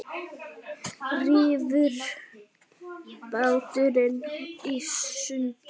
Rífur bátinn í sundur.